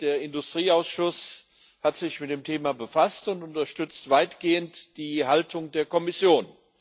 Der Industrieausschuss hat sich mit dem Thema befasst und unterstützt weitgehend die Haltung der Kommission.